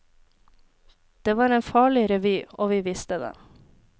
Det var en farlig revy, og vi visste det.